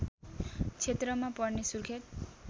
क्षेत्रमा पर्ने सुर्खेत